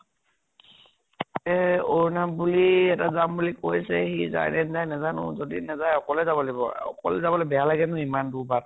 এ অৰ্নাব বুলি এটা যাম বুলি কৈছে, সি যায় নে নেযায় নাজানো। যদি নেজায় অকলে যাব লাগিব আৰু। অকলে যাবলৈ বেয়া লাগে নহয়, ইমান দূৰ বাট।